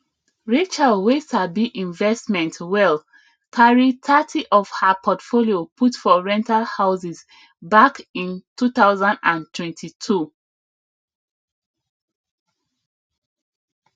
rachel wey sabi investment well carry thirty of her portfolio put for rental houses back in 2022